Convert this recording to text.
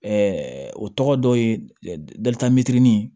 o tɔgɔ dɔ ye dalita mɛtirinin